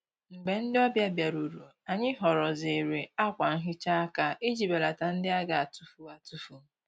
Mgbè ndị́ ọ́bị̀à bìárùrù, ànyị́ họ́rọ́zìrì ákwà nhị́chá áká ìjí bèlàtá ndị́ á gà-àtụ́fù àtụ́fù.